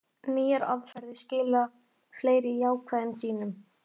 Nýjar aðferðir skila fleiri jákvæðum sýnum